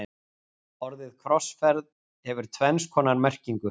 Orðið krossferð hefur tvenns konar merkingu.